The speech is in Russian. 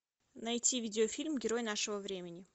найти видеофильм герой нашего времени